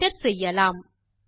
Enter செய்யலாம்